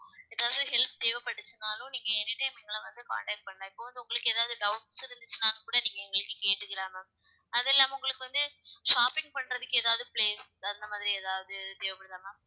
ஏதாவது help தேவைபட்டுச்சுனாலும் நீங்க anytime எங்கள வந்து contact பண்ணலாம் இப்ப வந்து உங்களுக்கு ஏதாவது doubts இருந்துச்சுன்னா கூட நீங்க எங்ககிட்ட கேட்டுக்கலாம் ma'am அதில்லாம உங்களுக்கு வந்து shopping பண்றதுக்கு ஏதாவது place தகுந்த மாதிரி ஏதாவது தேவைப்படுதா ma'am